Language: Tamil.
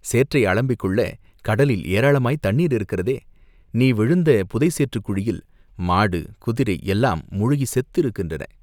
சேற்றை அலம்பிக்கொள்ளக் கடலில் ஏராளமாய்த் தண்ணீர் இருக்கிறதே!" "நீ விழுந்த புதை சேற்றுக்குழியில் மாடு, குதிரை எல்லாம் முழுகிச் செத்திருக்கின்றன.